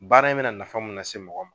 Baara in me na nafa mun nase mɔgɔ ma